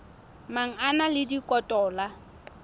mang a na le dikotola